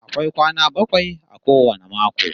Akwai kwana bakwai a kowane mako